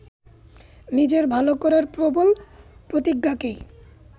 নিজের ভালো করার প্রবল প্রতিজ্ঞাকেই